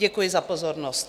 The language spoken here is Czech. Děkuji za pozornost.